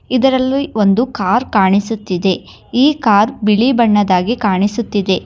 ಇದರಲ್ಲಿ ಒಂದು ಕಾರ್ ಕಾಣಿಸುತ್ತಿದೆ ಈ ಕಾರ್ ಬಿಳಿ ಬಣ್ಣದ್ದಾಗಿ ಕಾಣಿಸುತ್ತಿದೆ.